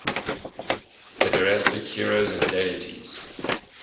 pederastic heroes and deities